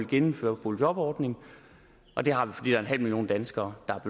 gennemføre boligjobordningen og det har vi fordi der er en halv million danskere der